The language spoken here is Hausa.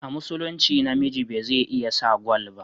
A musulince namiji beze iya sa gwal ba